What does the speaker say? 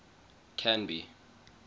canby